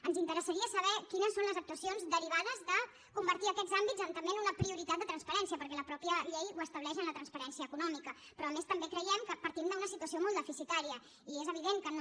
ens interessaria saber quines són les actuacions derivades de convertir aquests àmbits també en una prioritat de transparència perquè la mateixa llei ho estableix en la transparència econòmica però a més també creiem que partim d’una situació molt deficitària i és evident que no